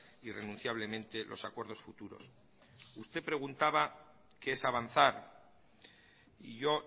irrenunciablemente los acuerdos futuros usted preguntaba qué es avanzar y yo